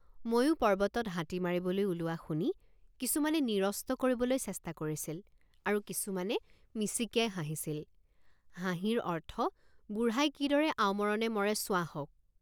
ময়ো পৰ্বতত হাতী মাৰিবলৈ ওলোৱা শুনি কিছুমানে নিৰস্ত কৰিবলৈ চেষ্টা কৰিছিল আৰু কিছুমানে মিচিকিয়াই হাঁহিছিল হাঁহিৰ অৰ্থবুঢ়াই কিদৰে আওমৰণে মৰে চোৱাহঁক।